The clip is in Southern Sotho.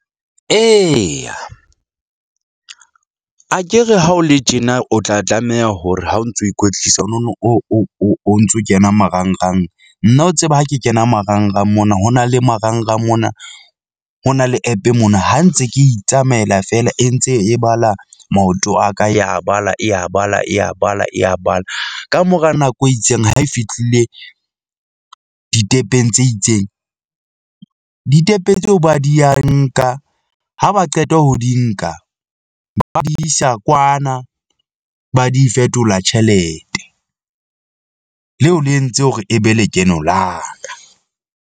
Eya akere ha o le tjena o tla tlameha hore ha o ntso ikwetlisa, o nono o o o ntso kena marangrang. Nna o tseba ha ke kena marangrang mona ho na le marangrang mona. Ho na le app-e mona, ha ntse ke itsamaela feela e ntse e bala maoto a ka ya bala e ya bala e ya bala e ya bala. Kamora nako e itseng ha e fihlile ditepeng tse itseng . Ditepe tseo ba di ya nka ha ba qeta ho di nka ba ba di isa kwana, ba di fetola tjhelete leo le entse hore e be lekeno la ka.